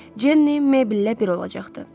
Cenni Mebllə bir olacaqdı.